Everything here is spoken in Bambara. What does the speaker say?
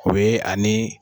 O ye ani